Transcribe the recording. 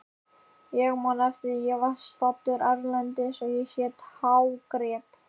Ég man að ég var staddur erlendis og bara hágrét.